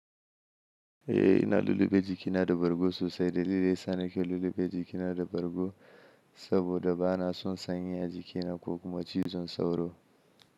Eh ina lullube jikina da bargo sosai, dalilai sani ke lullube jikina da bargo saboda bana son sanyi a jikina ko kuma cizon sauro.